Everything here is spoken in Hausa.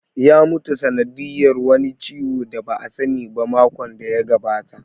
Ya mutu sanadiyar wani ciwo da ba a sani ba makon da ya gabata